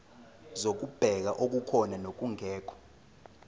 zokubheka okukhona nokungekho